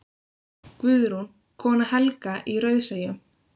Guðrún, kona Helga í Rauðseyjum.